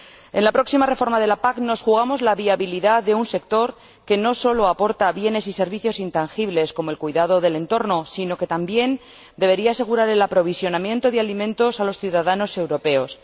En la próxima reforma de la PAC nos jugamos la viabilidad de un sector que no solo aporta bienes y servicios intangibles, como el cuidado del entorno, sino que también debería asegurar el aprovisionamiento de alimentos a los ciudadanos europeos.